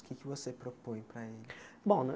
O que é que você propõe para eles? Bom na